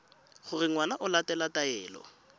gore ngwana o latela taelo